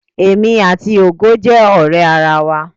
Èmi àti Ògo jẹ́ ọ̀rẹ́ ara wa.